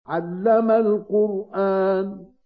عَلَّمَ الْقُرْآنَ